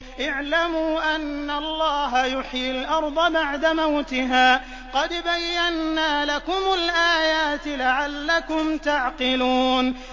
اعْلَمُوا أَنَّ اللَّهَ يُحْيِي الْأَرْضَ بَعْدَ مَوْتِهَا ۚ قَدْ بَيَّنَّا لَكُمُ الْآيَاتِ لَعَلَّكُمْ تَعْقِلُونَ